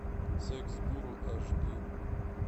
секс гуру аш ди